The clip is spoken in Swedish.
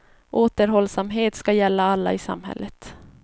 Återhållsamhet ska gälla alla i samhället.